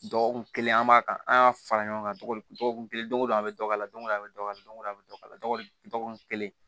Dɔgɔkun kelen an b'a kan an y'a fara ɲɔgɔn kan cogo di dɔgɔkun kelen don ko don an bɛ dɔ k'ala don an bɛ dɔgɔ don o don an bɛ dɔ kala dɔgɔkun dɔgɔkun kelen